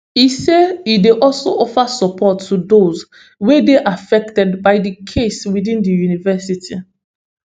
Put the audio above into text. e say e dey also offer support to dose wey dey affected by di case within di university